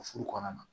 O furu kɔnɔna na